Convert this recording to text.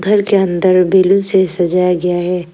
घर के अन्दर बैलून से सजाया गया है।